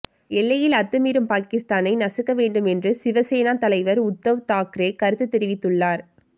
எல்லையில் அத்துமீறும் பாகிஸ்தானை நசுக்க வேண்டும் என்று சிவசேனா தலைவர் உத்தவ் தாக்ரே கருத்து தெரிவித்துள்ளார்